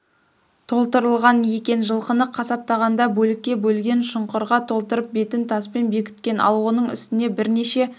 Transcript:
толтырылған екен жылқыны қасаптағанда бөлікке бөлген шұңқырға толтырып бетіп таспен бекіткен ал оның үстіне бірнеше